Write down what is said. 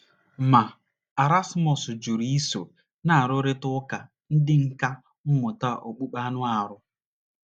Ma, Erasmus jụrụ iso ná nrụrịta ụka ndị nkà mmụta okpukpe na - arụ.